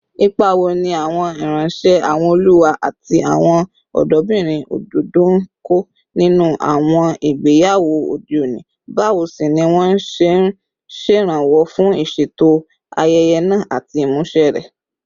Ipa wo ni àwọn ìránṣẹ́, àwọn olùwá, àti àwọn ọ̀dọ́bìnrin òdòdó ń kó nínú àwọn ìgbéyàwó òde òní, báwo sì ni wọ́n ṣe ń ṣèrànwọ́ fún ìṣètò ayẹyẹ náà àti ìmúṣẹ rẹ̀?